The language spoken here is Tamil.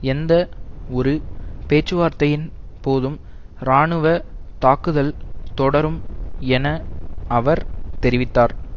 எந்த ஒரு பேச்சுவார்த்தையின் போதும் ராணுவ தாக்குதல் தொடரும் என அவர் தெரிவித்தார்